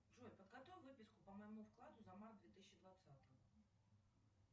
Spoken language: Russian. джой подготовь выписку по моему вкладу за март две тысячи двадцатого